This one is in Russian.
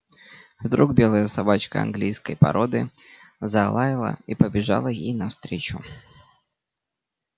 вдруг белая собачка английской породы залаяла и побежала ей навстречу